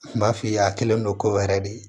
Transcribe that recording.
Kun b'a f'i ye a kɛlen don ko wɛrɛ de ye